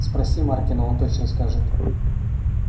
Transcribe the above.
спроси маркина он точно скажет